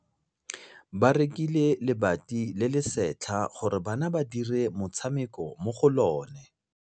Ba rekile lebati le le setlha gore bana ba dire motshameko mo go lona.